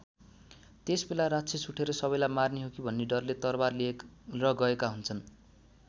त्यस बेला राक्षस उठेर सबैलाई मार्ने हो कि भन्ने डरले तरवार लिएर गएका हुन्छन्।